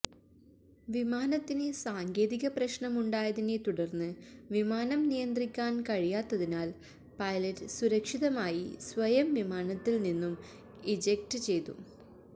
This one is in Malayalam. വിമാനത്തിന് സാങ്കേതിക പ്രശ്നമുണ്ടായതിനെ തുടര്ന്ന് വിമാനം നിയന്ത്രിക്കാന് കഴിയാത്തതിനാല് പൈലറ്റ് സുരക്ഷിതമായി സ്വയം വിമാനത്തില് നിന്നും ഇജെക്ട് ചെയ്തു